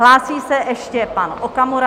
Hlásí se ještě pan Okamura.